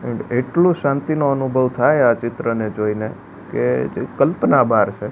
And એટલું શાંતિનો અનુભવ થાય આ ચિત્રને જોઈને કે જે કલ્પના બાર છે.